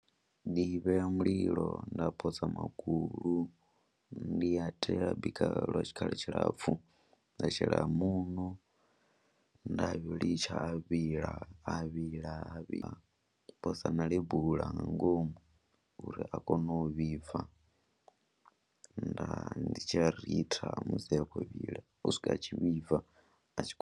Ndi vhea mulilo nda posa magulu, ndi a tea u a bika lwa tshikhala tshilapfhu, nda shela muṋo nda litsha a vhila a vhila nda posa na lebula nga ngomu uri a kone u vhibva, nda ndi tshi ya ritha musi a khou vhila u swika a tshi vhibva a tshi khou.